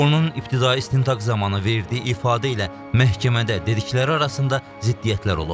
Onun ibtidai istintaq zamanı verdiyi ifadə ilə məhkəmədə dedikləri arasında ziddiyyətlər olub.